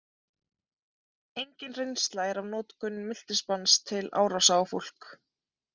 Engin reynsla er af notkun miltisbrands til árása á fólk.